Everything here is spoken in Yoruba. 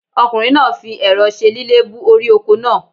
Ọkùnrin náà fi èro se lílébú orí oko náà